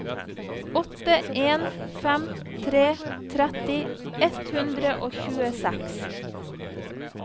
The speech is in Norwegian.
åtte en fem tre tretti ett hundre og tjueseks